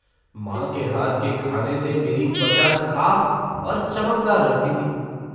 माँ के हाथ के खाने से मेरी त्वचा साफ और चमकदार रहती थी।